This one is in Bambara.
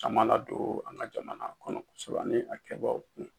Caman ladon an ka jamana kɔnɔ kosɛbɛ ani a kɛbaw kun